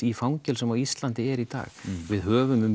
í fangelsum á Íslandi er í dag við höfum um